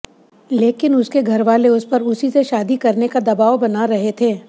लेकिन उसके घर वाले उसपर उसी से शादी करने का दबाव बना रहे थे